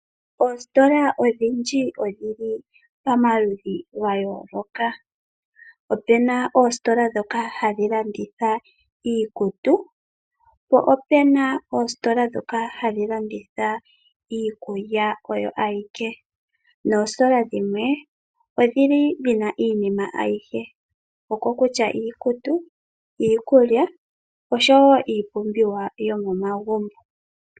Oositola odhindji odhili pamaludhi gayooloka. Opena oositolo dhoka hadhi landitha iikutu, po opena oositola dhoka hadhi landitha iikulya oyo ayike. Noositola dhimwe, odhili dhina iinima ayihe, oko kutya iikutu, iikulya, oshowo iipumbiwa yomomagumbo.